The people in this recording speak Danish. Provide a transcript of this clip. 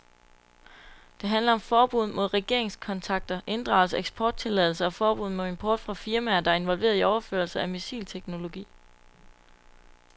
Det handler om forbud mod regeringskontakter, inddragelse af eksporttilladelser og forbud mod import fra firmaer, der er involveret i overførelser af missilteknologi.